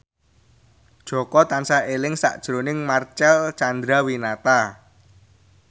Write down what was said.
Jaka tansah eling sakjroning Marcel Chandrawinata